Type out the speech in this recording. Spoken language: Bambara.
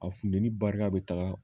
A funteni barika be taga